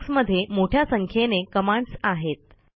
Linux मध्ये मोठ्या संख्येने कमांडस् आहेत